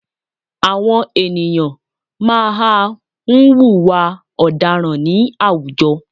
Àwọn ènìyàn má a nwùwà ọ̀daràn ní àwùjọ